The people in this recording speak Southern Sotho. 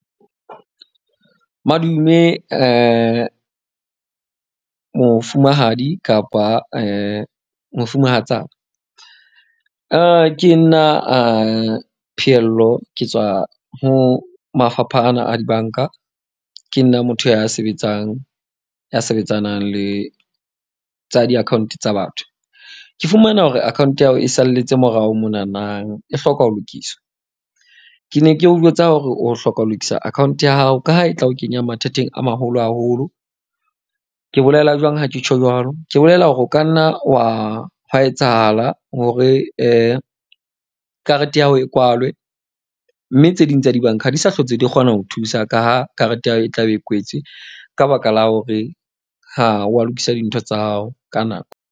Madume mofumahadi kapa mofumahatsana. Ke nna Phehello ke tswa ho mafapha ana a dibanka. Ke nna motho ya sebetsang, ya sebetsanang le tsa di-account tsa batho. Ke fumana hore account ya hao e salletse morao monanang e hloka ho lokiswa. Ke ne ke o jwetsa hore o hloka ho lokisa account ya hao ka ha e tla o kenya mathateng a maholo haholo. Ke bolela jwang ha ke tjho jwalo? Ke bolela hore o ka nna wa hwa etsahala hore karete ya hao e kwalwe. Mme tse ding tsa dibanka ha di sa hlotse di kgona ho thusa ka ha karete ya hao e tlabe e kwetswe ka baka la hore ha wa lokisa dintho tsa hao ka nako.